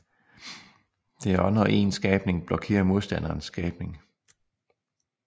Det er også når en skabning blokerer modstanderens skabning